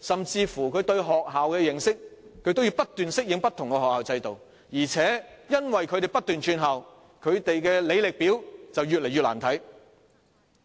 甚至在對學校的認識上，他們也要不斷適應不同學校的制度，而且由於他們不斷轉校，他們的履歷表便越來越"難看